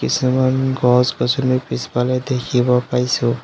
কিছুমান গছ-গছনি পিছফালে দেখিব পাইছোঁ।